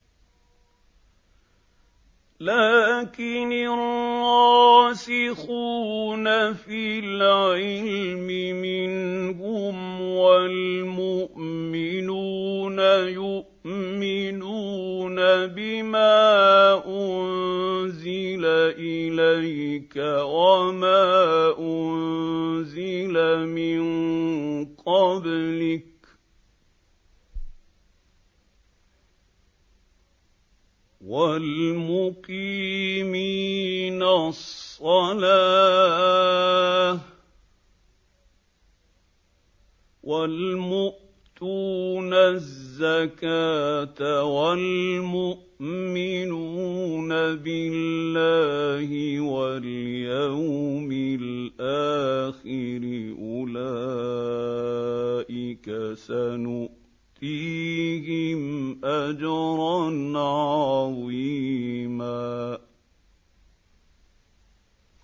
لَّٰكِنِ الرَّاسِخُونَ فِي الْعِلْمِ مِنْهُمْ وَالْمُؤْمِنُونَ يُؤْمِنُونَ بِمَا أُنزِلَ إِلَيْكَ وَمَا أُنزِلَ مِن قَبْلِكَ ۚ وَالْمُقِيمِينَ الصَّلَاةَ ۚ وَالْمُؤْتُونَ الزَّكَاةَ وَالْمُؤْمِنُونَ بِاللَّهِ وَالْيَوْمِ الْآخِرِ أُولَٰئِكَ سَنُؤْتِيهِمْ أَجْرًا عَظِيمًا